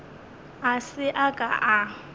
a se a ka a